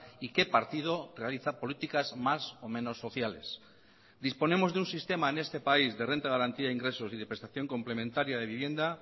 y qué partido realiza políticas más o menos sociales disponemos de un sistema en este país de renta de garantía de ingresos y de prestación complementaria de vivienda